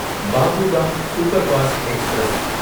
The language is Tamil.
Babu Dham superfast express